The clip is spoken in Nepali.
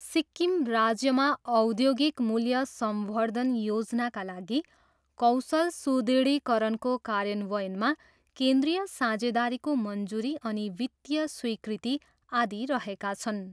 सिक्किम राज्यमा औद्योगिक मूल्य संवर्धन योजनाका लागि कौशल सुदृढीकरणको कार्यान्वयनमा केन्द्रीय साझेदारीको मञ्जुरी अनि वित्तीय स्वीकृति आदि रहेका छन्।